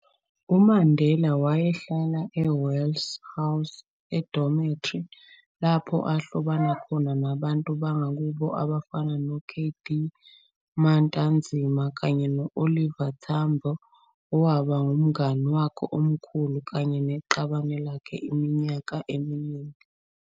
UMandela wayehlala e-Wesley House edomethri, lapho ahlobana khona nabantu bangakubo abafana no-K. D. Matanzima, kanye no-Oliver Tambo, owaba ngumnani wakhe omkhulu kanye neqabane lakhe iminyaka eminingi.